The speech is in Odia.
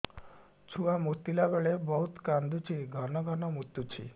ଛୁଆ ମୁତିଲା ବେଳେ ବହୁତ କାନ୍ଦୁଛି ଘନ ଘନ ମୁତୁଛି